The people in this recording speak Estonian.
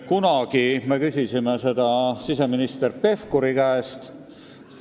Kunagi me küsisime selle kohta siseminister Pevkuri käest.